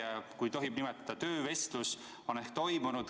Kas teie, kui tohib nii nimetada, töövestlus on toimunud?